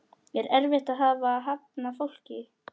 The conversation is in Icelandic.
Er erfitt að hafna fólki?